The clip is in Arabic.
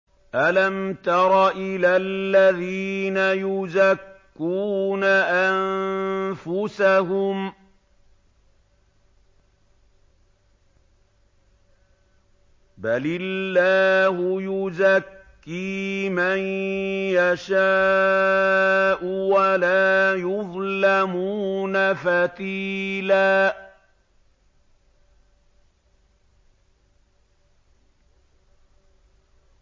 أَلَمْ تَرَ إِلَى الَّذِينَ يُزَكُّونَ أَنفُسَهُم ۚ بَلِ اللَّهُ يُزَكِّي مَن يَشَاءُ وَلَا يُظْلَمُونَ فَتِيلًا